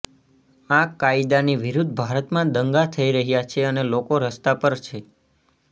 આ કાયદાની વિરૂદ્ધ ભારતમાં દંગા થઇ રહ્યા છે અને લોકો રસ્તા પર છે